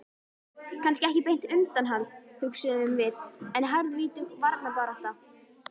Kannski ekki beint undanhald, hugsuðum við, en harðvítug varnarbarátta.